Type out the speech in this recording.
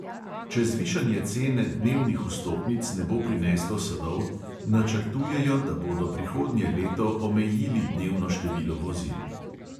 Če zvišanje cene dnevnih vstopnic ne bo prineslo sadov, načrtujejo, da bodo prihodnje leto omejili dnevno število vozil.